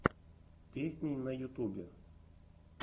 песни на ютубе